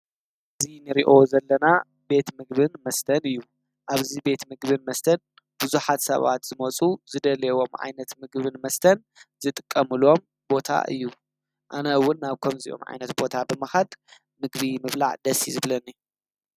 እዙ ንሪኦ ዘለና ቤት ምግብን መስተን እዩ ኣብዙ ቤት ምግብን መስተን ብዙሓት ሰባት ዝመፁ ዝደልዎም ዓይነት ምግብን መስተን ዝጥቀምሎም ቦታ እዩ። ኣነ 'ውን ናብ ከምዚኦም ዓይነት ቦታ ብምኻድ ምግቢ ምብላዕ ደስ እዩ ዝብለኒ።